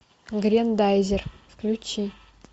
грендайзер включи